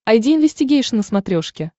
айди инвестигейшн на смотрешке